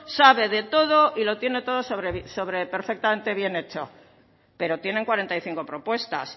sabe de todo y lo tiene todo perfectamente bien hecho pero tienen cuarenta y cinco propuestas